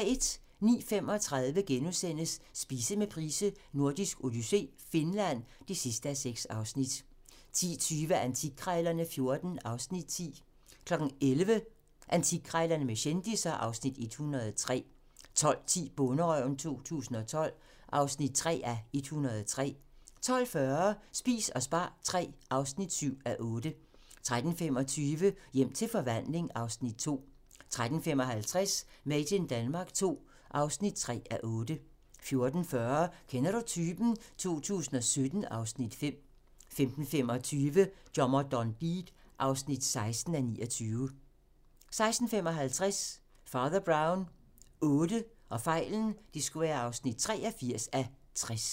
09:35: Spise med Price: Nordisk odyssé - Finland (6:6)* 10:20: Antikkrejlerne XIV (Afs. 10) 11:00: Antikkrejlerne med kendisser (Afs. 103) 12:10: Bonderøven 2012 (3:103) 12:40: Spis og spar III (7:8) 13:25: Hjem til forvandling (Afs. 2) 13:55: Made in Denmark II (3:8) 14:40: Kender du typen? 2017 (Afs. 5) 15:25: Dommer John Deed (16:29) 16:55: Fader Brown VIII (83:60)